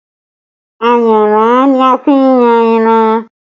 Ayanran ni a fi n yan ẹran